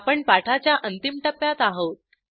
आपण पाठाच्या अंतिम टप्प्यात आहोत